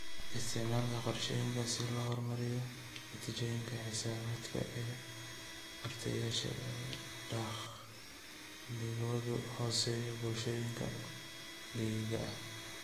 Isticmaalka koorsooyinka si loo horumariyo natiijooyinka xisaabaadka ee bartayaasha ee dakhligoodu hooseeyo, bulshooyinka miyiga ah.